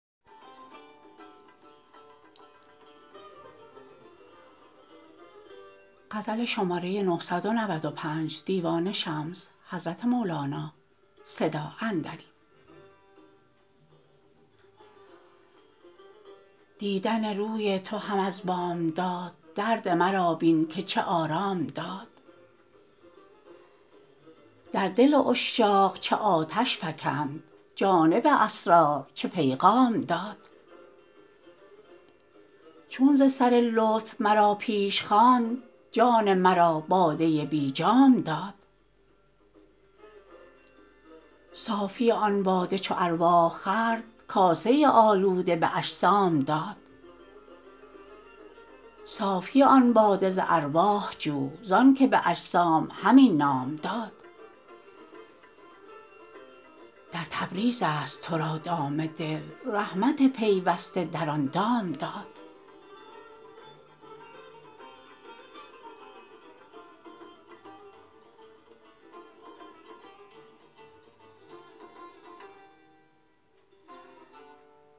دیدن روی تو هم از بامداد درد مرا بین که چه آرام داد در دل عشاق چه آتش فکند جانب اسرار چه پیغام داد چون ز سر لطف مرا پیش خواند جان مرا باده بی جام داد صافی آن باده چو ارواح خورد کاسه آلوده به اجسام داد صافی آن باده ز ارواح جو زانک به اجسام همین نام داد در تبریزست تو را دام دل رحمت پیوسته در آن دام داد